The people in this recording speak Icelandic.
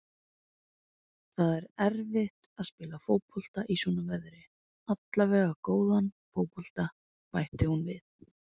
Það er erfitt að spila fótbolta í svona veðri, allavega góðan fótbolta, bætti hún við.